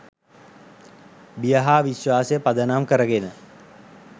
බිය හා විශ්වාසය පදනම් කරගෙන